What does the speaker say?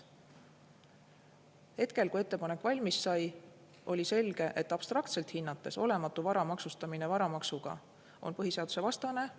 Hetkel, kui ettepanek valmis sai, oli selge, et abstraktselt hinnates on olematu vara maksustamine varamaksuga põhiseadusvastane.